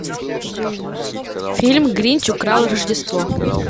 фильм гринч украл рождество